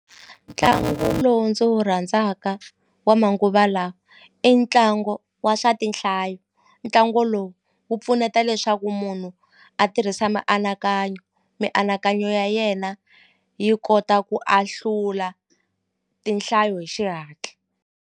Ntlangu lowu ndzi wu rhandzaka wa manguva lawa i ntlangu wa swa tinhlayo ntlangu lowu wu pfuneta leswaku munhu a tirhisa mianakanyo mianakanyo ya yena yi kota ku ahlula tinhlayo hi xihatla.